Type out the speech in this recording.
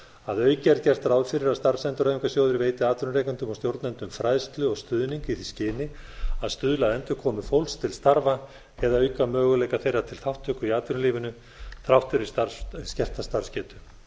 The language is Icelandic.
að auki er gert ráð fyrir að starfsendurhæfingarsjóðir veiti atvinnurekendum og stjórnendum fræðslu og stuðning í því skyni að stuðla að endurkomu fólks til starfa eða auka möguleika þeirra til þátttöku í atvinnulífinu þrátt fyrir skerta starfsgetu